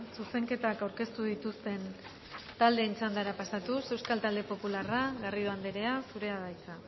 zuzenketak aurkeztu dituzten taldeen txandara pasatuz euskal talde popularra garrido anderea zurea da hitza